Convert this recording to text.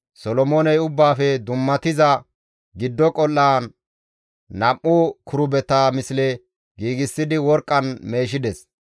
Solomooney Ubbaafe Dummatiza Giddo Qol7an nam7u kirubeta misle giigsidi worqqan meeshides.